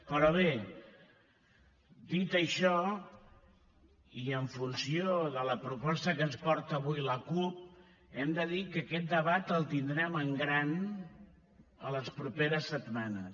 però bé dit això i en funció de la proposta que ens porta avui la cup hem de dir que aquest debat el tindrem en gran les properes setmanes